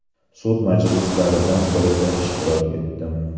Sud majlislaridan birida ishtirok etdim.